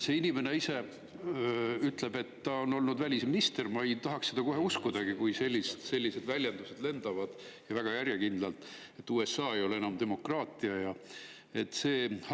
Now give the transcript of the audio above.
See inimene ise ütleb, et ta on olnud välisminister, aga ma ei tahaks seda kohe uskudagi, sest väga järjekindlalt lendavad sellised väljendused, et USA ei ole enam demokraatlik riik ja nii edasi.